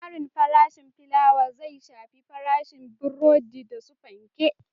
Ƙarin farashin filawa zai shafi farashin burodi da su fanke